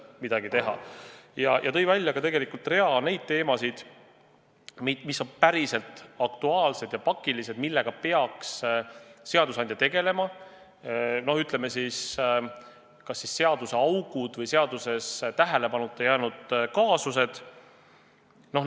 Ja ta tõi välja ka rea teemasid, mis on päriselt aktuaalsed ja pakilised, millega seadusandja peaks praegu tegelema: näiteks teatud seaduseaugud, seadustes tähelepanuta jäänud kaasused.